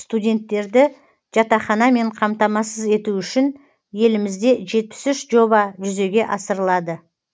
студенттерді жатақханамен қамтамасыз ету үшін елімізде жетпіс үш жоба жүзеге асырылады